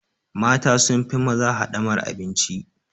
Mata sun fi maza haɗamar abinci.